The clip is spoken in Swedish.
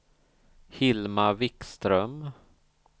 Hilma Wikström